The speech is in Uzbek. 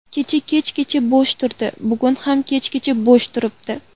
Kecha kechgacha bo‘sh turdi, bugun ham kechgacha bo‘sh turibdi.